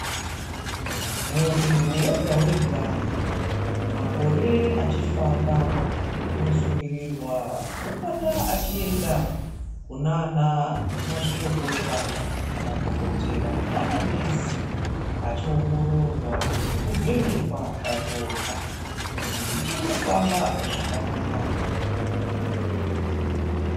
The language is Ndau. Muntu wega wega, makore achifamba, unosungirirwa kupota achienda kunaana mazvikokota, kumadhokotera namanesi, achiongororwa nekuvhenekwa ropa kuti richiri kufamba zvakanaka here.